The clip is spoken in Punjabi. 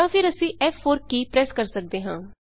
ਜਾਂ ਫੇਰ ਅਸੀਂ ਫ਼4 ਕੀ ਪ੍ਰੈਸ ਕਰਦੇ ਹਾਂ